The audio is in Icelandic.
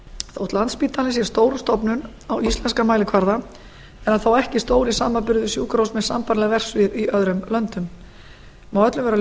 þótt landspítalinn sé stór stofnun á íslenskan mælikvarða er hann þó ekki stór í samanburði við sjúkrahús með sambærileg verksvið í öðrum löndum má öllum vera